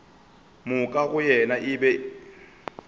moka go yena e be